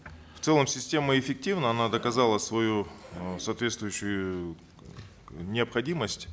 в целом система эффективна она доказала свою э соответствующую необходимость